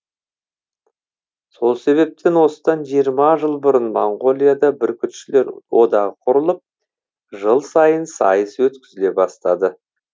сол себептен осыдан жиырма жыл бұрын моңғолияда бүркітшілер одағы құрылып жыл сайын сайыс өткізіле бастады